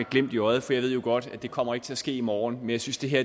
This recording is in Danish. glimt i øjet for jeg ved jo godt at det ikke kommer til at ske i morgen men jeg synes det her